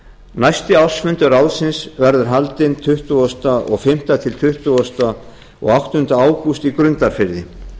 næsti ársfundur ráðsins verður haldinn tuttugasta og fimmta til tuttugasta og áttunda ágúst á grundarfirði